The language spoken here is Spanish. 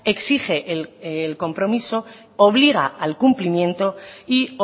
exige el compromiso obliga al cumplimiento y